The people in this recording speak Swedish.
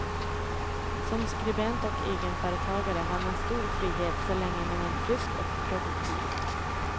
Som skribent och egenföretagare har man stor frihet, så länge man är frisk och produktiv.